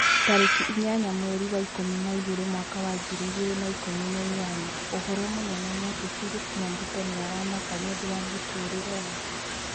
Tarĩki inya mweri wa ikũmi na igĩrĩ mwaka wa ngiri igĩrĩ na ikũmi na inyanya ũhoro mũnene nĩ ati philip nyabuto nĩ aramaka nĩũndũ wa mũtũrĩre wake